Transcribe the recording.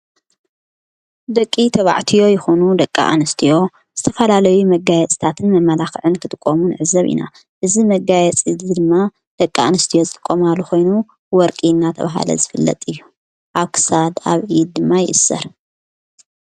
ደቂ ተባዕትዮ ይኾኑ ደቂ ኣንስትዮ ዝተፋላለዊ መጋየጽታትን መመላኽዕን ክጥቆሙ ኣዕዘብ ኢና እዝ መጋየ ጽቲ ድማ ደቂ ኣንስትዮ ጽቆምሉኾይኑ ወርቂ እና ተብሃለ ዝፍለጥ እዩ ኣሳድ ኣብ ድማ ይእስር።